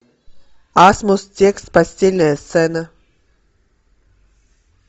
асмус текст постельная сцена